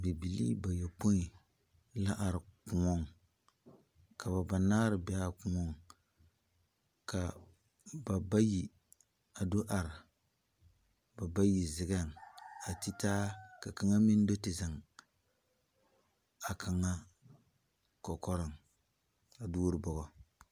Bibilii bayɔpoe la are kõɔŋ ka ba banaare be a kõɔŋ ka ba bayi a do are ba bayi zeɡɛŋ a ti taa ka kaŋa meŋ do te zeŋ a kaŋa kɔkɔreŋ a duore bɔɡɔ .